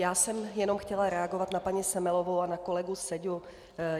Já jsem jenom chtěla reagovat na paní Semelovou a na kolegu Seďu.